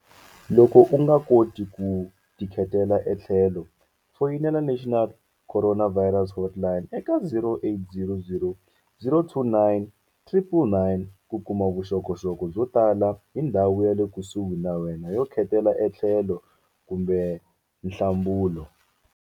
Loko u nga koti ku tikhetela etlhelo, foyinela National Coronavirus Hotline eka0800 029 999 ku kuma vuxokoxoko byo tala hi ndhawu yale kusuhi na wena yo khetela etlhelo kumbe nhlambulo.